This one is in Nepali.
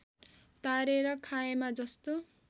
तारेर खाएमा जस्तो